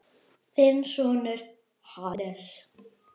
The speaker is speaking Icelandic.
Þinn sonur, Hannes.